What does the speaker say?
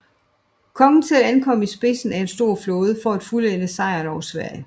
Kongen selv ankom i spidsen af en stor flåde for at fuldende sejren over Sverige